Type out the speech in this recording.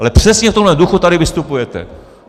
Ale přesně v tomhle duchu tady vystupujete.